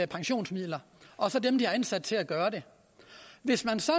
pensionsmidler og så dem de har ansat til at gøre det hvis man så